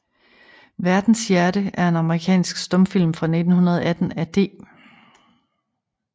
Verdens Hjerte er en amerikansk stumfilm fra 1918 af D